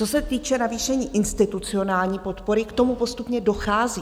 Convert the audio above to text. Co se týče navýšení institucionální podpory, k tomu postupně dochází.